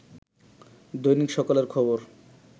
দৈনিক সকালের খবর